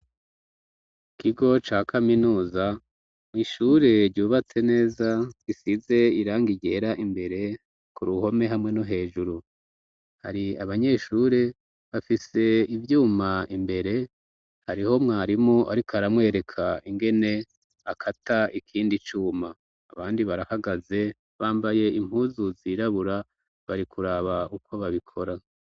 Ikigo ca kaminuza mw'ishure ryubatse neza gisize iranga igera imbere ku ruhome hamwe no hejuru hari abanyeshure bafise ivyuma imbere hariho mwarimu, ariko aramwereka ingene akata ikindi cuma abandi barahagaze bambaye impuzuz irabura barikuraba uko babikora.